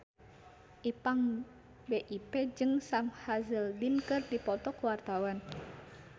Ipank BIP jeung Sam Hazeldine keur dipoto ku wartawan